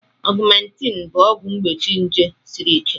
Augmentin bụ ọgwụ mgbochi nje siri ike